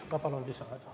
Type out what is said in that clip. Ma palun lisaaega!